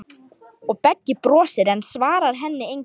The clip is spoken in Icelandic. Og Beggi brosir, en svarar henni engu.